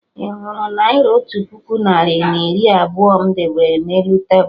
Ị hụrụ Naira otu puku narị na iri abụọ m debere na elu tebul?